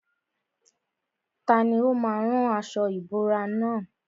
Tani ó má a rán aṣọ ìbora nà?